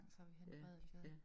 Og så vi henne på Adelgade